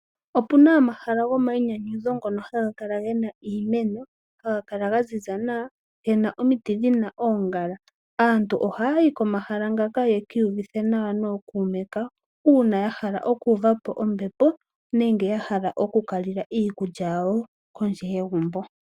Opuna omahala gomainyanyudho ngono haga kala gena iimeno, haga kala ga ziza nawa gena omiti djina oongala. Aantu ohaya yi komahala ngaka ya ki iyuvithe nawa nookume kawo, uuna ya hala okuuva po ombepo nenge ya hala oku ka lila iikulya yawo kondje yegumbo.